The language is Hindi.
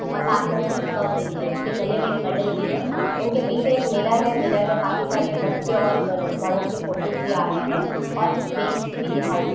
और साथ में उन्होंने स्कर्फ भी लिया हैं उसके गले में एक मेडल भी हैं उनके पीछे एक मिरर भी हैं मिरर में काफी सारे बच्चे और बल-बड़ों के फोटोज भी आ रहें हैं और कुछ बेंच की भी दिखाई दे--